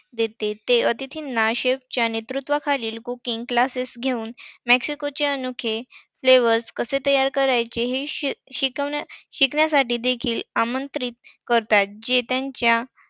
देते. ते अतिथींना chef च्या नेतृत्वाखाली cooking classes घेऊन मक्सिकोचे अनोखे Flavour कसे तयार करायचे हे शिक~ शिकवण्यासाठी शिकण्यासाठी देखील आमंत्रित करत जे तेंच्या.